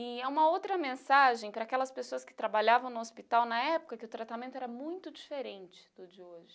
E é uma outra mensagem para aquelas pessoas que trabalhavam no hospital na época, que o tratamento era muito diferente do de hoje.